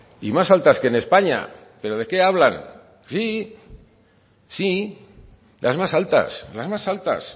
y más altas que en españa pero de qué hablan sí sí las más altas las más altas